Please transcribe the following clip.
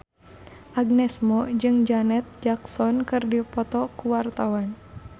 Agnes Mo jeung Janet Jackson keur dipoto ku wartawan